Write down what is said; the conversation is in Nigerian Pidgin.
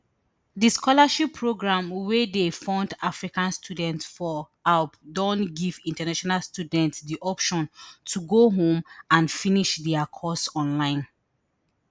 di scholarship programme wey dey fund african students for aub don give international students di option to go home and finish dia course online